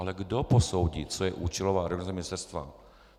Ale kdo posoudí, co je účelová reorganizace ministerstva?